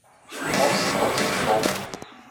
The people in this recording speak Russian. хоббс против шоу